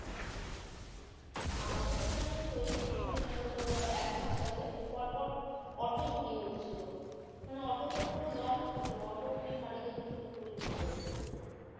আমাদের এখানেই তো কিছুদিন আগে ধরো এক মাস আগে পরপর অটো চুরি হচ্ছিল মানে অটো তো পুরো লক থাকে অটো এমনি ভারি গাড়ি চুরি করে নিয়ে যায় কি করে?